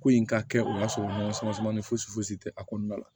Ko in ka kɛ o y'a sɔrɔ samasamani fosi fosi tɛ a kɔnɔna la